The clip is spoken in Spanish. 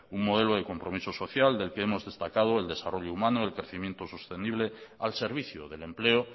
un modelo de compromiso social del que hemos destacado el desarrollo humano el crecimiento sostenible al servicio del empleo